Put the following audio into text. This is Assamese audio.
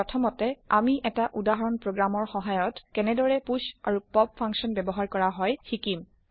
প্ৰথমতে আমি এটা উদাহৰণ প্ৰগ্ৰাম ৰ সহায়ত কেনেদৰে পুষ আৰু পপ ফাকশ্যন ব্যৱহাৰ কৰা হয় তাক যানিম